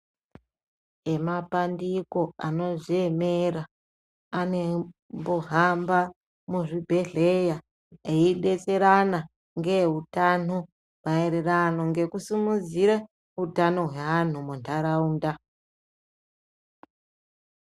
Emapandiko anodziemera anombohamba muzvibhehlera eidetserana ngeeutano maererano ngekusimudzire utano hweantu mundaraunda.